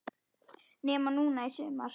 Nema núna í sumar.